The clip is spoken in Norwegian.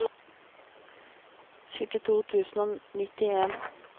syttito tusen og nittien